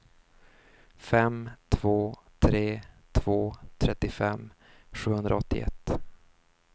fem två tre två trettiofem sjuhundraåttioett